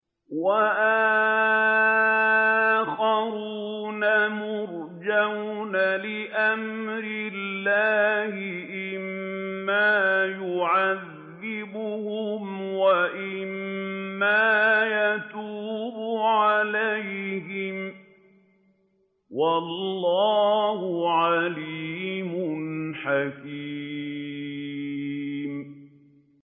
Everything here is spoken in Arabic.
وَآخَرُونَ مُرْجَوْنَ لِأَمْرِ اللَّهِ إِمَّا يُعَذِّبُهُمْ وَإِمَّا يَتُوبُ عَلَيْهِمْ ۗ وَاللَّهُ عَلِيمٌ حَكِيمٌ